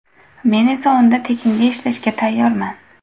Men esa unda tekinga ishlashga tayyorman.